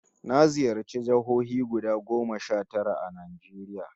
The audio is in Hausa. Na ziyarci jihohi guda goma sha tara a Najeriya